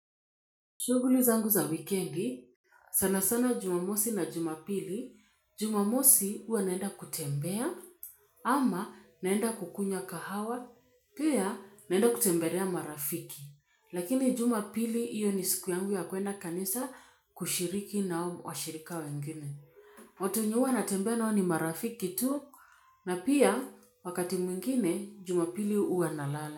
Shughuli zangu za wikendi, sana sana jumamosi na jumapili, jumamosi huwa naenda kutembea ama naenda kukunywa kahawa, pia naenda kutembelea marafiki. Lakini jumapili hiyo ni siku yangu ya kuenda kanisa kushiriki na hao washirika wengine. Watu wenye huwa natembea nao ni marafiki tu na pia wakati mwingine jumapili huwa nalala.